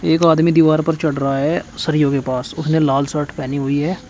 एक आदमी दीवार पर चढ़ रहा है सरियों के पास उसने लाल शर्ट पहनी हुई है।